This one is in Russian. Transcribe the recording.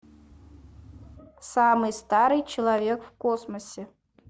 самый старый человек в космосе